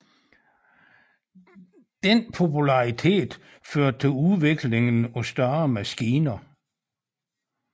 Denne popularitet førte til udviklingen af større maskiner